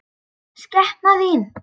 Skepnan þín!